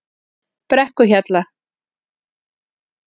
Brekkuhjalla